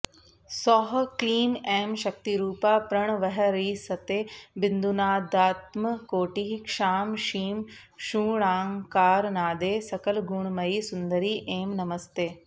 सौः क्लीं ऐं शक्तिरूपा प्रणवहरिसते बिन्दुनादात्मकोटिः क्षां क्षीं क्षूङ्कारनादे सकलगुणमयी सुन्दरी ऐं नमस्ते